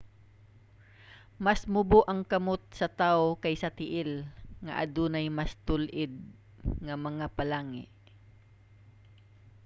mas mubo ang kamot sa tawo kaysa tiil nga adunay mas tul-id nga mga phalange